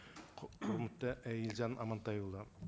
құрметті і елжан амантайұлы